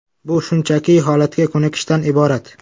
Bu shunchaki holatga ko‘nikishdan iborat.